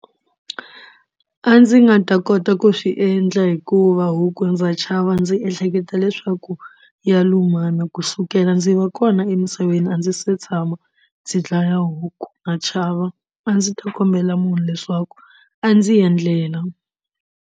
A ndzi nga ta kota ku swi endla hikuva huku ndza chava ndzi ehleketa leswaku ya lumana kusukela ndzi va kona emisaveni a ndzi se tshama ndzi dlaya huku na chava a ndzi ta kombela munhu leswaku a ndzi endlela.